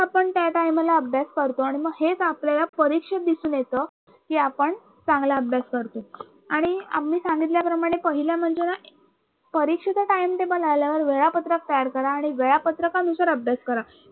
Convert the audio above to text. आपण त्या Time ला अभ्यास करतो आणि मग हेच आपल्याला परीक्षेत दिसून येत कि आपण चांगला अभ्यास करतोय आणि आम्ही सांगितल्याप्रमाणे पहिले म्हणजे ना परीक्षेच TimeTable आल्यावर वेळापत्रक तयार करा आणि वेळापत्रकानुसार अभ्यास करा.